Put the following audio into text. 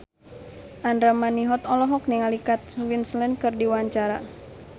Andra Manihot olohok ningali Kate Winslet keur diwawancara